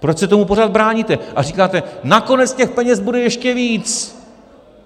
Proč se tomu pořád bráníte a říkáte, nakonec těch peněz bude ještě víc!